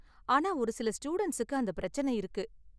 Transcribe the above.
ஆனா ஒரு சில ஸ்டூடண்ட்ஸுக்கு அந்த பிரச்சின இருக்கு.